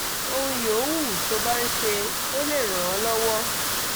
ohun yòówù tó bá ń ṣe ó lè ràn án lọ́wọ́